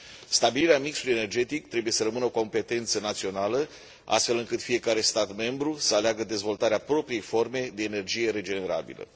Stabilirea mixului energetic trebuie să rămână o competență națională, astfel încât fiecare stat membru să aleagă dezvoltarea propriei forme de energie regenerabilă.